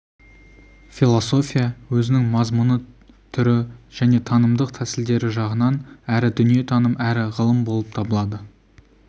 философия өзінің мазмұны түрі және танымдық тәсілдері жағынан әрі дүниетаным әрі ғылым болып табылады